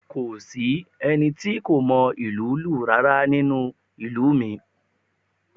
Kò sí ẹni tí kò mọ ìlú lù rárá nínú ìlú mi